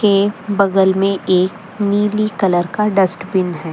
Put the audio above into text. के बगल में एक नीली कलर का डस्ट बिन है।